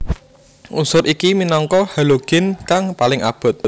Unsur iki minangka halogin kang paling abot